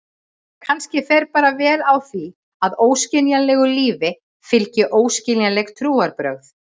Kannski fer bara vel á því að óskiljanlegu lífi fylgi óskiljanleg trúarbrögð.